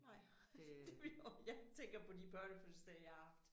Nej det ville også jeg tænker på de børnefødselsdage jeg har haft